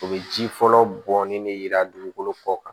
U bɛ ji fɔlɔ bɔnnen de yira dugukolo kɔ kan